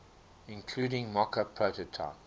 including mockup prototype